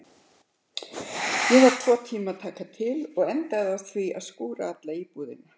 Ég var tvo tíma að taka til og endaði á því að skúra alla íbúðina.